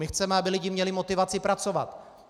My chceme, aby lidi měli motivaci pracovat.